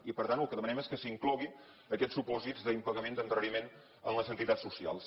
i per tant el que demanem és que s’incloguin aquests supòsits d’impagament d’endarreriment amb les entitats socials